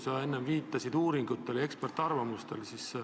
Sa enne viitasid uuringutele ja eksperdiarvamustele.